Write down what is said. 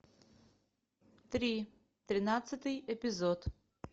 три тринадцатый эпизод